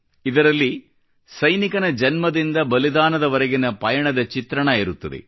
ಇದರಲ್ಲಿ ಸೈನಿಕನ ಜನ್ಮದಿಂದ ಬಲಿದಾನದವರೆಗಿನ ಪಯಣದ ಚಿತ್ರಣವಿರುತ್ತದೆ